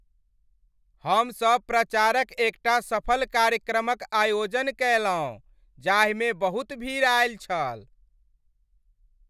हमसभ प्रचारक एकटा सफल कार्यक्रमक आयोजन कयलहुँ जाहिमे बहुत भीड़ आयल छल।